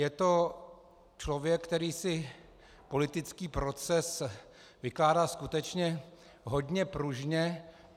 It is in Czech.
Je to člověk, který si politický proces vykládá skutečně hodně pružně.